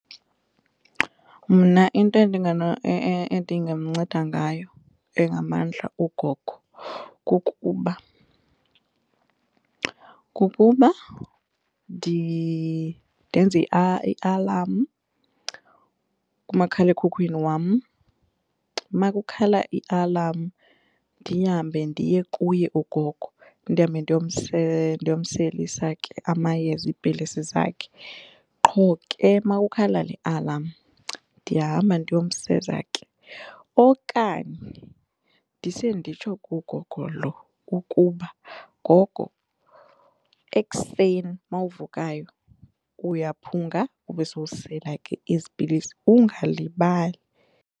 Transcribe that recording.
Mna into endingamnceda ngayo engamandla ugogo kukuba, kukuba ndenze ialam kumakhalekhukhwini wam. Makukhala ialam ndihambe ndiye kuye ugogo ndihambe ndiyomselisa ke amayeza iipilisi zakhe. Qho ke makukhala ialam ndiyahamba ndiyomseza ke. Okanye ndise nditsho kugogo lo ukuba gogo ekuseni mawuvukayo uyaphunga ube sowusela ke ezi pilisi ungalibali.